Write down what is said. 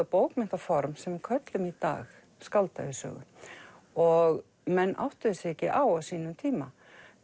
bókmenntaform sem við köllum í dag skáldævisögu og menn áttuðu sig ekki á sínum tíma